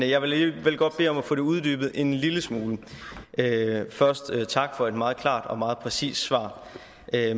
jeg vil alligevel godt bede om at få det uddybet en lille smule først tak for et meget klart og meget præcist svar